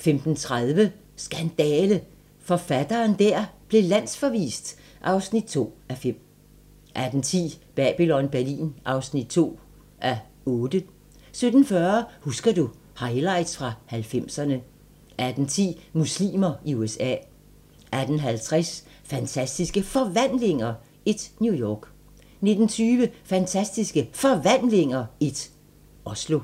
15:30: Skandale! - forfatteren der blev landsforvist (2:5) 16:10: Babylon Berlin (2:8) 17:40: Husker du - Highlights fra 90'erne 18:10: Muslimer i USA 18:50: Fantastiske Forvandlinger I - New York 19:20: Fantastiske Forvandlinger I - Oslo